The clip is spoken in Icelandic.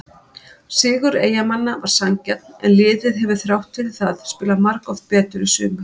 Sigur Eyjamanna var sanngjarn en liðið hefur þrátt fyrir það spilað margoft betur í sumar.